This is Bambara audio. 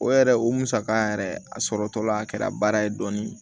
O yɛrɛ o musaka yɛrɛ a sɔrɔtɔla a kɛra baara ye dɔɔnin